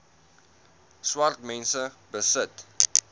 swart mense besit